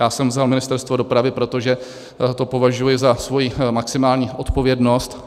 Já jsem vzal Ministerstvo dopravy, protože to považuji za svoji maximální odpovědnost.